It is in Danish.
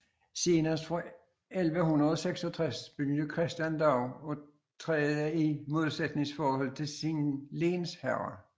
Senest fra 1166 begyndte Christian dog at træde i modsætningsforhold til sin lensherre